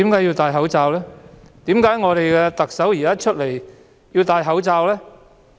為何我們的特首現在出來要戴口罩呢？